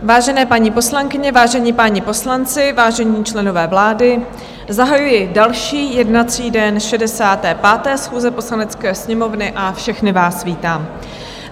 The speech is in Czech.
Vážené paní poslankyně, vážení páni poslanci, vážení členové vlády, zahajuji další jednací den 65. schůze Poslanecké sněmovny a všechny vás vítám.